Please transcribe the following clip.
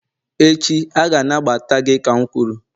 echi, a ga-anagbata gị ka m kwuru